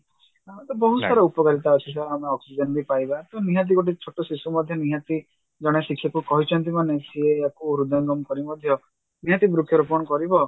ତ ବହୁତ ସାରା ଉପକାରିତା ଅଛି sir ଆମେ oxygen ବି ପାଇବା ତ ନିହାତି ଗୋଟେ ଛୋଟ ଶିଶୁ ମଧ୍ୟ ନିହାତି ଜଣେ ଶିକ୍ଷକ କହିଛନ୍ତି ମାନେ ସିଏ ଆକୁ ହୃଦୟଙ୍ଗମ କରି ମଧ୍ୟ ନିହାତି ବୃକ୍ଷରୋପଣ କରିବ